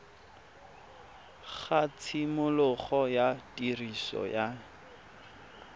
ga tshimologo ya tiriso ya